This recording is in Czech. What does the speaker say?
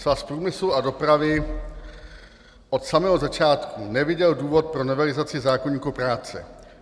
Svaz průmyslu a dopravy od samého začátku neviděl důvod pro novelizaci zákoníku práce.